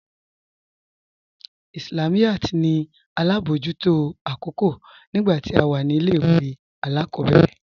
Islamiyat ní alábọjútò akókò nígbà tí à wà ní ilẹ̀-ìwé aláàkòbẹ̀rẹ̀